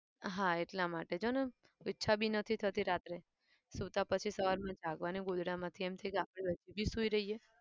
હા એટલા માટે જોને ઈચ્છા બી નથી થતી રાતે. સુતા પછી સવારમાં જાગવાનું ગોદડામાંથી એમ થાય કે આપણે હજુ બી સુઈ રહીએ.